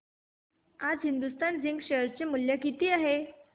आज Hindustan zinc share चे मूल्य किती आहे